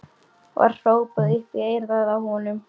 var hrópað upp í eyrað á honum.